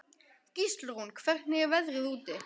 Gíslrún, hvernig er veðrið úti?